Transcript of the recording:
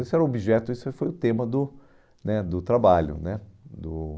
Esse era o objeto, esse foi o tema do né do trabalho né do